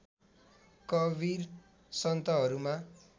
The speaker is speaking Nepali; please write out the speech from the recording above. कवीर सन्तहरूमा